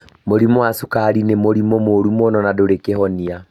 Mũrimũ wa cukari nĩ mũrimũ mũũru mũno na ndũrĩ kĩhonia.